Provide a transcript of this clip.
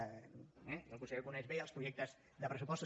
eh que el conseller coneix bé els projectes de pressupostos